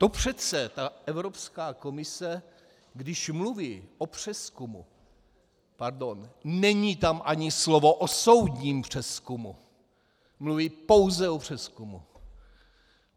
To přece ta Evropská komise, když mluví o přezkumu, pardon, není tam ani slovo o soudním přezkumu, mluví pouze o přezkumu.